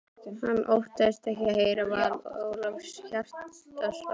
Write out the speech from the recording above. Hann óttaðist ekki að heyra val Ólafs Hjaltasonar.